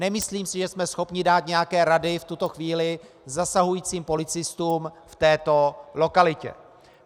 Nemyslím si, že jsme schopni dát nějaké rady v tuto chvíli zasahujícím policistům v této lokalitě.